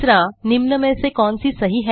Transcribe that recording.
निम्न में से कौन सीसही है